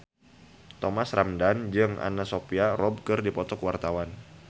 Thomas Ramdhan jeung Anna Sophia Robb keur dipoto ku wartawan